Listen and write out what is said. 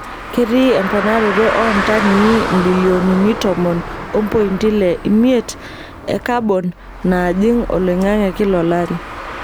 Ketii emponaroto oontanii mbilionini tomon ompointi ile imiet e kabon najing oloingange kila olari.